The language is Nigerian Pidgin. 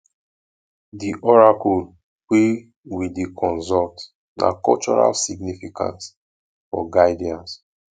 di oracle wey we dey consult na cultural significance for guidance